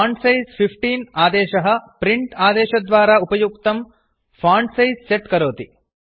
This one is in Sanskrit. फोन्टसाइज़ 15 आदेशः प्रिंट आदेशद्वारा उपयुक्तं फाण्ट् सैज् सेट् करोति